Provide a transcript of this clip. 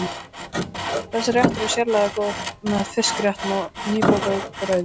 Þessi réttur er sérlega góður með fiskréttum og nýbökuðu brauði.